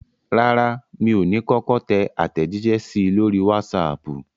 Rárá, mi ò ní kọ́kọ́ tẹ àtẹ̀jíṣẹ́ sí i lórí wásaàpù.